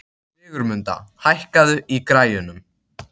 Sigurmunda, hækkaðu í græjunum.